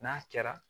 N'a kɛra